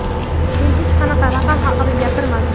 Men hech qanaqa raqam haqida gapirmadim.